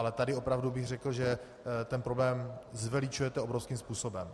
Ale tady opravdu bych řekl, že ten problém zveličujete obrovským způsobem.